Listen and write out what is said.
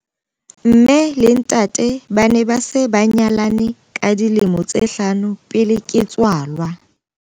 Mme le ntate ba ne ba se ba nyalane ka dilemo tse hlano pele ke tswalwa.